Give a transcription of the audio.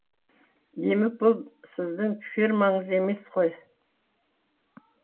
демек бұл сіздің фермаңыз емес қой